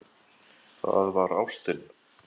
Það var ástin.